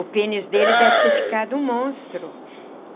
O pênis dele deve ter ficado um monstro.